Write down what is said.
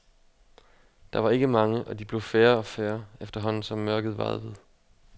Der var ikke mange, og de blev færre og færre, efterhånden som mørket varede ved.